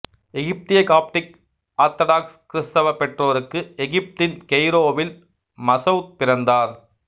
எகிப்திய Coptic Orthodox கிறிஸ்தவ பெற்றோருக்கு எகிப்தின் கெய்ரோவில் மசௌத் பிறந்தார்